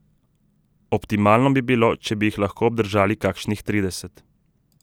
Optimalno bi bilo, če bi jih lahko obdržali kakšnih trideset.